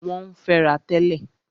Wọ́n ń fẹ́ra tẹ́lẹ̀.